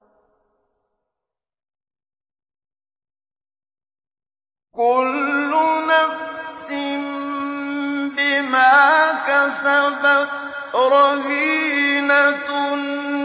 كُلُّ نَفْسٍ بِمَا كَسَبَتْ رَهِينَةٌ